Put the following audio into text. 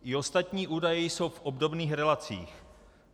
I ostatní údaje jsou v obdobných relacích.